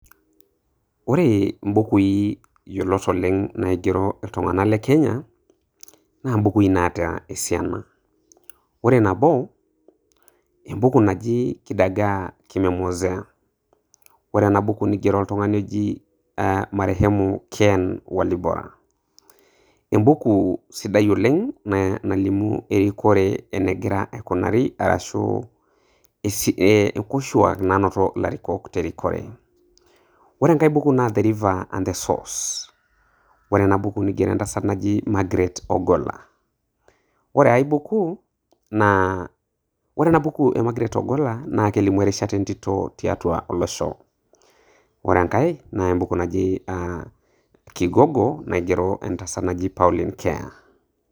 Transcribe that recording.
Ore imbukui yiolot naig'ero iltung'ana le Kenya naa imbukui naata esiana. Ore nabo, naa embuku najo Kidagaa Kimemwozea, ore ena buku neigero otung'ani oji marehemu Ken Walibora. Embuku sidai oleng' naalimu erikore eneig'ira aikunari arashu nkoshuak nainoto naa ilarikok tiatua erikore. Ore enkai buku naa The river and the source, ore ena buku neig'ero naa entasat naji Margaret Ogolla. Ore ai buku naa, ore ena buku e Margaret Ogolla naa kelimu erishata entito tiatua olosho. Kore enkai naa embuku naji um Kigogo naigero entasat naji Pauline Keya